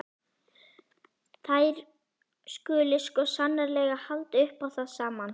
Þær skuli sko sannarlega halda upp á það saman.